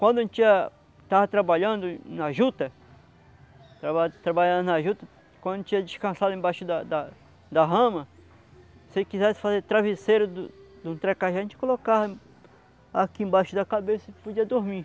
Quando a gente ia... estava trabalhando na juta, traba trabalhando na juta, quando a gente ia descansar lá embaixo da da da rama, se quisesse fazer travesseiro do de um trecajé, a gente colocava aqui embaixo da cabeça e podia dormir.